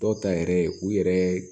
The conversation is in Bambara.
Dɔw ta yɛrɛ ye u yɛrɛ